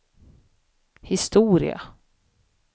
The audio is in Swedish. historia